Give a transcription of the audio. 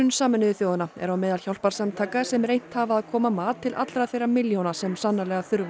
Sameinuðu þjóðanna er á meðal hjálparsamtaka sem reynt hafa að koma mat til allra þeirra milljóna sem sannarlega þurfa